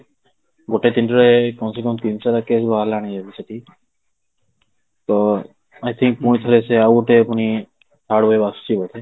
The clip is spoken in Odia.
ଗୋଟେ ଦିନରେ କମ ସେ କମ ତିନିଶହ ଷାଠିଏ ଆଜି ବାହାରିଲାଣି ଏବେ ସେଠି ତ I think ପୁଣି ଥରେ ସେ ଆଉ ଗୋଟେ ପୁଣି ଆଉ ଗୋଟେ wave ଆସୁଛି ବୋଧେ